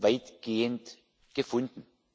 weitgehend gefunden.